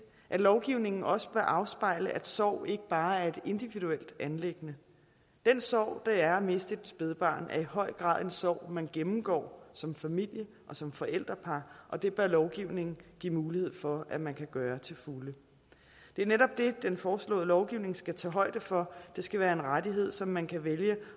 at lovgivningen også bør afspejle at sorg ikke bare er et individuelt anliggende den sorg det er at miste et spædbarn er i høj grad en sorg man gennemgår som familie og som forældrepar og det bør lovgivningen give mulighed for at man kan gøre til fulde det er netop det den foreslåede lovgivning skal tage højde for det skal være en rettighed som man kan vælge